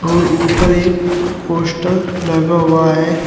और ऊपर एक पोस्टर लगा हुआ है।